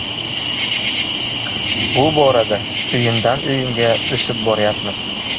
Bu borada o‘yindan o‘yinga o‘sib boryapmiz”.